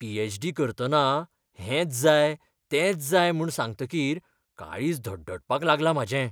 PhD. करतना हेंच्च जाय तेंच्च जाय म्हूण सांगतकीर काळीज धडधडपाक लागलां म्हाजें.